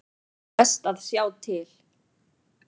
Best að sjá til.